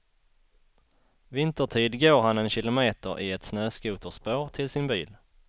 Vintertid går han en kilometer i ett snöskoterspår till sin bil.